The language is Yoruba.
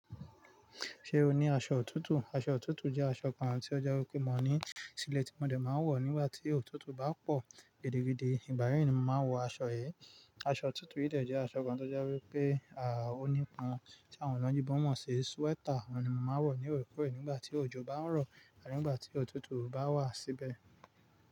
Ṣé o ní aṣọ òtútù? Aṣọ òtútù jẹ́ aṣọ kan tí ó jẹ́ wípé mo ní sílé tí mo dé máa ń wọ̀ nígbà tí òtútù bá pọ̀ gidigidi. Ìgba yi ni mo máa ń wọ aṣọ yi. Aṣọ òtútù yìí dẹ́ je aṣọ kan tó jẹ́ wípé a òní pon tí àwọn ọlọ́yibo mọ̀ sí sweater. Ọ̀un ni mo máa ń wọ̀ ní òrekore nígbà tí òjò bá ń rọ̀ ànígbà tí òtútù bá wà síbẹ̀.